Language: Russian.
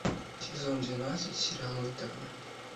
сезон двенадцать сериал интерны